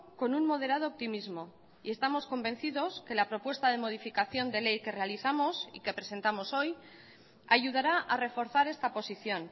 con un moderado optimismo y estamos convencidos que la propuesta de modificación de ley que realizamos y que presentamos hoy ayudará a reforzar esta posición